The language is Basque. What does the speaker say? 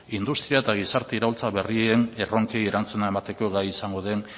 industria eta gizarte iraultza berrien erronkei erantzuna emateko gai izango den